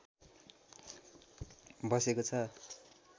बसेको छ